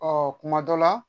Ɔ kuma dɔ la